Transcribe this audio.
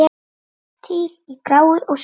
Til í gráu og svörtu.